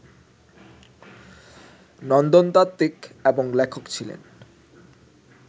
নন্দনতাত্বিক এবং লেখক ছিলেন